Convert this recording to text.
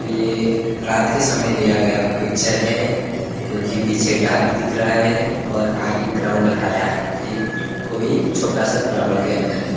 ये रात के समय लिया गया पिक्चर है क्योंकि पीछे डार्क दिख रहा है और आगे ग्राउंड हरा है ये कोई छोटा सा ग्राउंड के अंदर है।